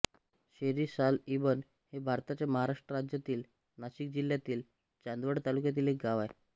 शेरीसालईबन हे भारताच्या महाराष्ट्र राज्यातील नाशिक जिल्ह्यातील चांदवड तालुक्यातील एक गाव आहे